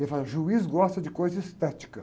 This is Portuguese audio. Ele falava, o juiz gosta de coisa estética.